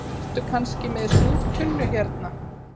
Ertu kannski með súrtunnu hérna